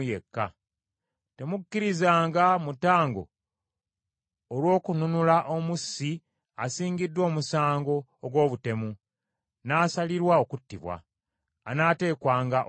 “ ‘Temukkirizanga mutango olw’okununula omussi asingiddwa omusango ogw’obutemu n’asalirwa okuttibwa; anaateekwanga okuttibwa.